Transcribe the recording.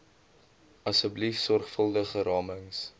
asseblief sorgvuldige ramings